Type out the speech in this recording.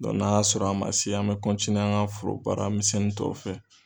n'a y'a sɔrɔ a ma se, an bɛ an ka foro baara misɛnin tɔw fɛ.